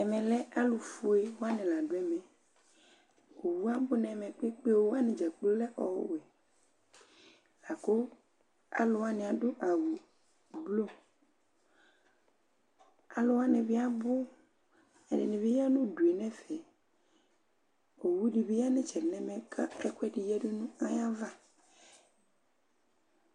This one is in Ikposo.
Ɛmɛ lɛ alufoéwani, la ɖu ɛmɛ Owʊ abʊ nɛmɛ ƙpékpé Owʊwani djakplo ɔlɛ ɔwɛ Laƙʊ aluwanɩ aɖu awʊ blu Aluwanɩ biabʊ Ɛɖɩnɩ ƴa Ŋuɖʊ ŋefɛ Owuɖibi ƴa ŋuɖu ŋɛƒɛ Owuɖɩbɩ ƴa ŋʊ ɩtsɛɖɩ ŋɛʋɛ, kaƙɔ ɛkʊɛɖɩ ƴaɖʊ ŋaƴava